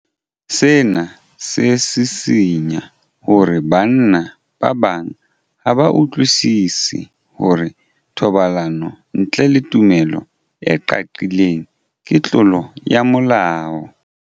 Sena se sisinya hore banna ba bang ha ba utlwisisi hore thobalano ntle le tumello e qaqileng ke tlolo ya molao.